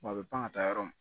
Wa a bɛ pan ka taa yɔrɔ min